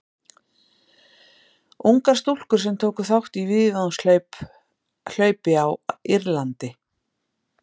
Ungar stúlkur sem tóku þátt í víðavangshlaupi á Írlandi.